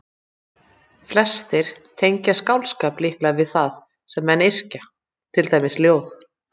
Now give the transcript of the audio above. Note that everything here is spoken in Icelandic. Flestir tengja skáldskap líklega við það sem menn yrkja, til dæmis ljóð.